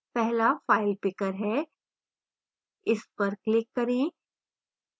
पहला file picker है इस पर click करें